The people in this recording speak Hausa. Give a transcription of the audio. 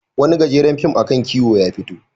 Wani gajeren fim a kan kiwo ya fito.